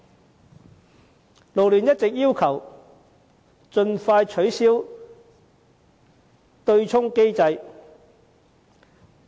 港九勞工社團聯會一直要求盡快取消對沖機制。